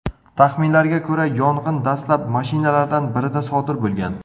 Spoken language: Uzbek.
Taxminlarga ko‘ra, yong‘in dastlab mashinalardan birida sodir bo‘lgan.